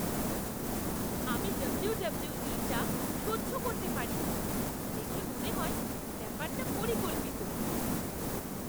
আমি ডব্লুডব্লুই টা সহ্য করতে পারি না। দেখে মনে হয় ব্যাপারটা পরিকল্পিত।